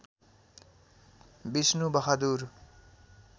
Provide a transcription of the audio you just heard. Vishnu Bahadur